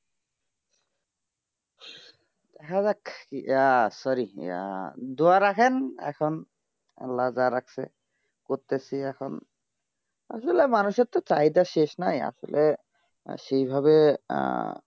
হেঁ যাক কিয়া sorry দুআ রাখেন এখন আল্লাহন যার আছে করতে চি এখন আসলে তো মানুসের তাই তো শেষ নাই আসলে সেই ভাবে